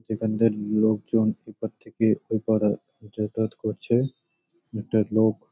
যেখানকার লোকজন এপার থেকে ওপারে যাতায়াত করছে একটা লোক--